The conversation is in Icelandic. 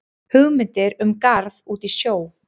Hugmyndir um garð út í sjó